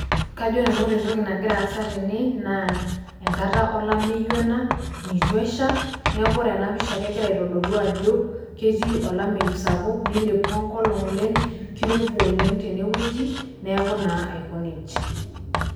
Kajo nanu ore entoki nagira aasa tene naa enkata olameyu ena, nitu esha, neeku ore enapisha kegira aitodolu ajo ketii olameyu sapuk nilepua enkolong oleng, kirowua oleng tenewueji, neeku naa aiko nejia.